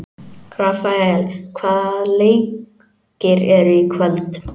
Rafael, hvaða leikir eru í kvöld?